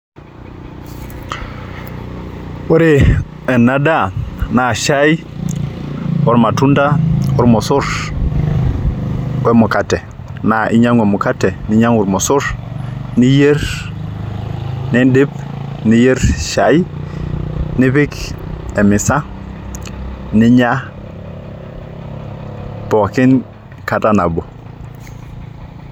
Ore enadaa naa shai ormatunda ormosor wemukate naa inyiangu emukate ninyiangu irmosor , niyier nindip , niyier shai , nipik emisa, ninya pookin kata nabo.